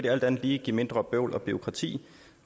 alt andet lige give mindre bøvl og bureaukrati